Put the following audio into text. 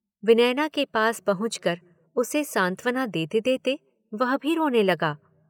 विनयना के पास पहुंचकर उसे सांत्वना देते-देते वह भी रोने लगा।